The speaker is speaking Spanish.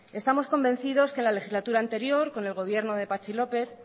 estamos convencidos que en la legislatura anterior con el gobierno de patxi lópez